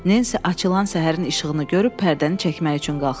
Nensi açılan səhərin işığını görüb pərdəni çəkmək üçün qalxdı.